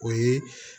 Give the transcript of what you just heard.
O ye